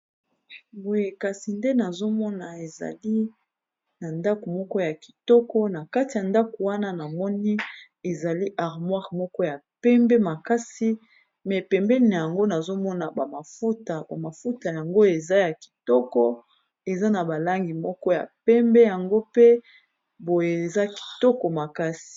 boyekasi nde nazomona ezali na ndako moko ya kitoko na kati ya ndako wana na moni ezali armoire moko ya pembe makasi me pembeni yango nazomona ubamafuta yango eza ya kitoko eza na balangi moko ya pembe yango pe boye eza kitoko makasi